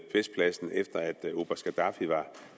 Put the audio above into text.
festpladsen efter at oberst gaddafi